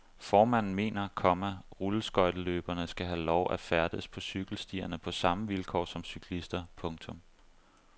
Formanden mener, komma rulleskøjteløberne skal have lov at færdes på cykelstierne på samme vilkår som cyklister. punktum